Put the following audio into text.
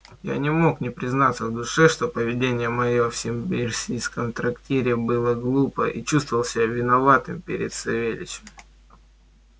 я не мог не признаться в душе что поведение моё в симбирском трактире было глупо и чувствовал себя виноватым перед савельичем